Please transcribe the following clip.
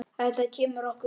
Þetta kemur okkur við.